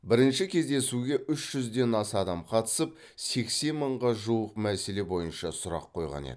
бірінші кездесуге үш жүзден аса адам қатысып сексен мыңға жуық мәселе бойынша сұрақ қойған еді